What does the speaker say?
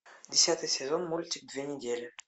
десятый сезон мультик две недели